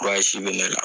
bɛ ne la